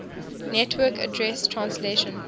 network address translation